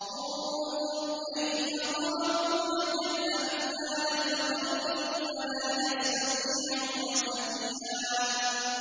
انظُرْ كَيْفَ ضَرَبُوا لَكَ الْأَمْثَالَ فَضَلُّوا فَلَا يَسْتَطِيعُونَ سَبِيلًا